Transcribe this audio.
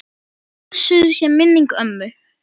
Blessuð sé minning ömmu.